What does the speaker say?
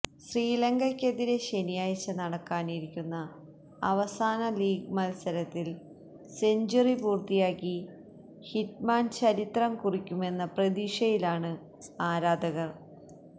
ശ്രീലങ്കയ്ക്കെതിരേ ശനിയാഴ്ച നടക്കാനിരിക്കുന്ന അവസാന ലീഗ് മല്സരത്തില് സെഞ്ച്വറി പൂര്ത്തിയാക്കി ഹിറ്റ്മാന് ചരിത്രം കുറിക്കുമെന്ന പ്രതീക്ഷയിലാണ് ആരാധകര്